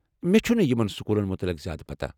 مےٚ چھنہٕ یمن سکوٗلن متعلق زیٛادٕ پتاہ۔